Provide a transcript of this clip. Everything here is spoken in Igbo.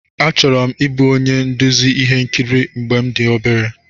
Achọrọ m ịbụ onye nduzi ihe nkiri mgbe m dị obere.